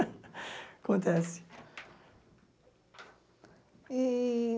Acontece. E